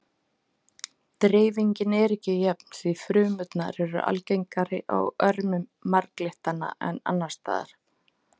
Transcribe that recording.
Dreifingin er ekki jöfn því frumurnar eru algengari á örmum marglyttanna en annars staðar.